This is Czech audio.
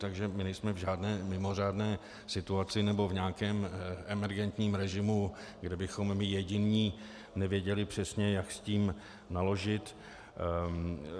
Takže my nejsme v žádné mimořádné situaci nebo v nějakém emergentním režimu, kde bychom my jediní nevěděli přesně, jak s tím naložit.